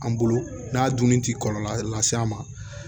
An bolo n'a dunni ti kɔlɔlɔ las'a ma